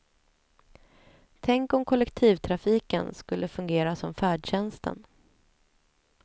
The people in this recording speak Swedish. Tänk om kollektivtrafiken skulle fungera som färdtjänsten.